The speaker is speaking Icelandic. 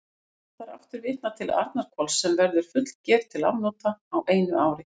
Má þar aftur vitna til Arnarhvols, sem verður fullger til afnota á einu ári.